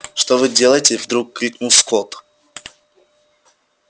что вы делаете вдруг крикнул скотт